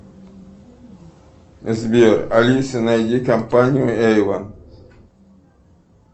сбер алиса найди компанию эйвон